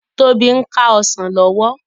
Tobi n ká òsán lòwò